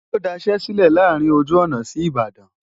ó daṣẹ́ sílẹ̀ láàárín ojú ọ̀nà sí Ìbàdàn